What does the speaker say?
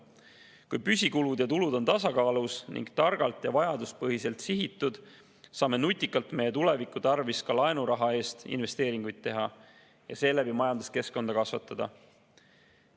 Kui püsikulud ja -tulud on tasakaalus ning targalt ja vajaduspõhiselt sihitud, saame tuleviku tarvis nutikalt ka laenuraha eest investeeringuid teha ja seeläbi majanduskeskkonda kasvatada.